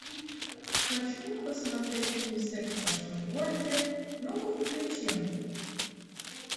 хочу посмотреть фильм секс в большом городе ну ка включи